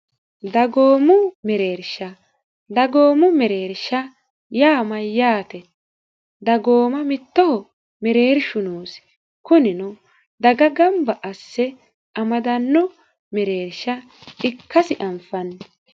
dagoomu mereersha dagoomu mereersha yaamayyaate dagooma mittoho mereershu noosi kunino daga gamba asse amadanno mereersha ikkasi anfanni